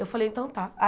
Eu falei, então tá.